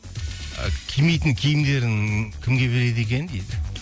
ы кимейтін киімдерін кімге береді екен дейді